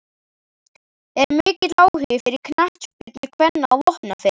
Er mikill áhugi fyrir knattspyrnu kvenna á Vopnafirði?